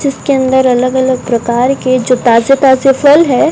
जिसके अंदर अलग अलग प्रकार के जो ताजे ताजे फल है।